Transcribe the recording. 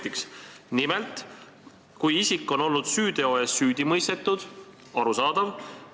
Nimelt on kirjas, et laitmatut reputatsiooni ei ole, kui isik on olnud süüteo eest süüdi mõistetud – arusaadav!